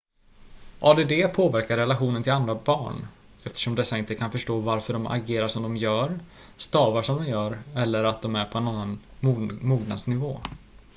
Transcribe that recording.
add påverkar relationen till andra barn eftersom dessa inte kan förstå varför de agerar som de gör stavar som de gör eller att de är på en annan mognadsnivå